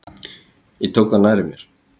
Ég tók það nærri mér.